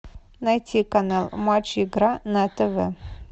найти канал матч игра на тв